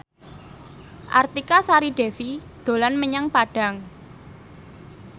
Artika Sari Devi dolan menyang Padang